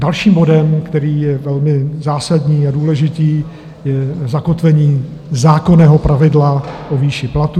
Dalším bodem, který je velmi zásadní a důležitý, je zakotvení zákonného pravidla o výši platů.